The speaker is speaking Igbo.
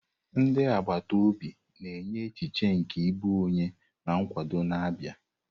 Ndị agbata obi na-enye echiche nke ịbụ onye na nkwado n'Aba.